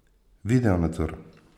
Video nadzor.